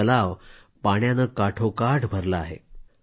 आता तलाव पाण्यानं भरगच्च भरला आहे